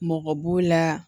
Mɔgɔ b'o la